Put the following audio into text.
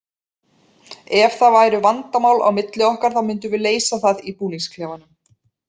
Ef það væru vandamál á milli okkar þá myndum við leysa það í búningsklefanum.